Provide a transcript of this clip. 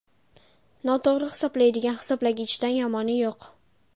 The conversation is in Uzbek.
Noto‘g‘ri hisoblaydigan hisoblagichdan yomoni yo‘q.